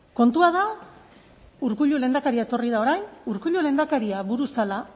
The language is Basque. kontua da urkullu lehendakaria etorri da orain urkullu lehendakaria buru zela